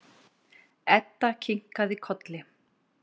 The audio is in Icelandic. Edda kinkaði kolli.